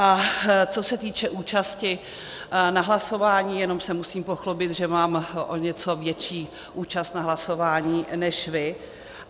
A co se týče účasti na hlasování, jenom se musím pochlubit, že mám o něco větší účast na hlasování než vy.